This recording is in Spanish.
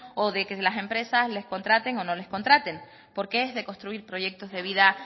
o de que las empresas les contraten o no le contraten porque es de construir proyectos de vida